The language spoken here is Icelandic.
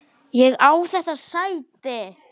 Ég á þetta sæti!